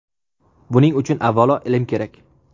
Buning uchun avvalo ilm kerak.